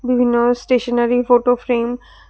বিভিন্ন stationery photo frame.